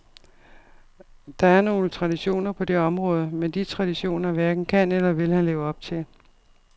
Der er nogle traditioner på det område, men de traditioner hverken kan eller vil han leve op til.